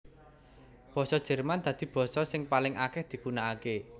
Basa Jerman dadi basa sing paling akèh digunakaké